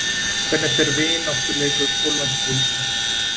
Hvernig fer vináttuleikur Póllands og Íslands?